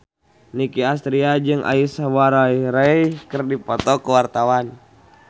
Nicky Astria jeung Aishwarya Rai keur dipoto ku wartawan